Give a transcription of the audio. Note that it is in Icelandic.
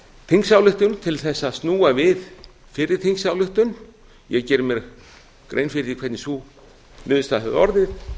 þingsályktun til þess að snúa við fyrri þingsályktun ég geri mér grein fyrir því hvernig sú niðurstaða hefði orðið